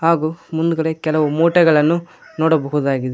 ಹಾಗು ಮುಂದ್ಗಡೆ ಕೆಲವು ಮುಟೆಗಳನ್ನು ನೋಡಬಹುದಾಗಿದೆ.